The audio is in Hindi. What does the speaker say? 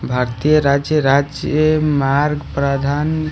भारतीय राज्य राज्य अ मार्ग प्रधान--